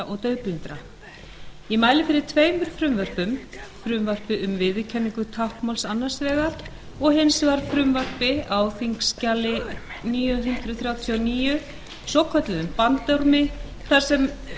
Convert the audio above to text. og daufblindra ég mæli fyrir tveimur frumvörpum frumvarpi um viðurkenningu táknmáls annars vegar og hins vegar frumvarpi á þingskjali níu hundruð þrjátíu og níu svokölluðum bandormi þar sem gerðar